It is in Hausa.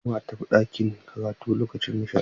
Halima za ta je ɗakin karatu lokacin nishaɗi.